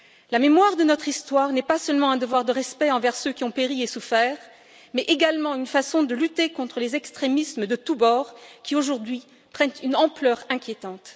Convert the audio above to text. La mémoire de notre histoire n'est pas seulement un devoir de respect envers ceux qui ont péri et souffert, mais également une façon de lutter contre les extrémismes de tous bords qui, aujourd'hui, prennent une ampleur inquiétante.